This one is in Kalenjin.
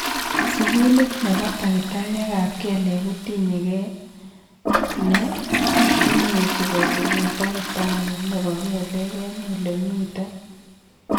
sugulit nepo takitariek ap kelek kotinye kei ne imuch kosigun tagitari nepo kelek en ole imiten.